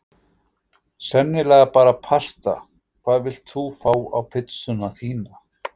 Sennilega bara pasta Hvað vilt þú fá á pizzuna þína?